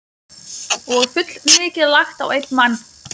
Og fullmikið lagt á einn mann.